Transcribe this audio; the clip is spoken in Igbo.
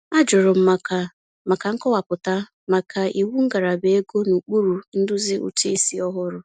A jụrụ m maka maka nkọwapụta maka iwu ngalaba ego n'ụkpụrụ nduzi ụtụisi ọhụrụ.